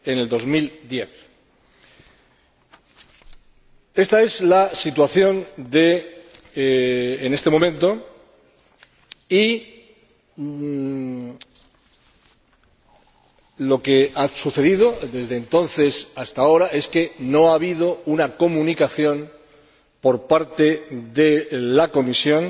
2010. Ésta es la situación en este momento y lo que ha sucedido desde entonces hasta ahora es que no ha habido una comunicación por parte de la Comisión